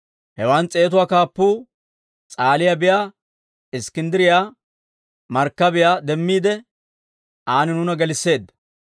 Hewaan s'eetatuwaa kaappuu S'aaliyaa biyaa Iskkinddiriyaa markkabiyaa demmiide, aan nuuna gelisseedda.